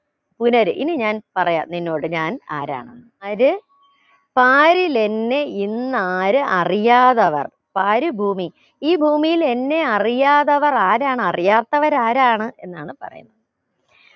പുനര് ഈ ഞാൻ പറയാം നിന്നോട് ഞാൻ ആരാണ് അതായത് പാരിലെന്നെ ഇന്ന് ആര് അറിയാതവർ പാര് ഭൂമി ഈ ഭൂമിയിൽ എന്നെ അറിയാതവർ ആരാണ് അറിയാത്തവർ ആരാണ് എന്നാണ് പറയുന്നത്